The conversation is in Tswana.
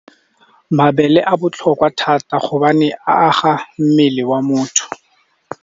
Mabele a botlhokwa thata gobane a aga mmele wa motho.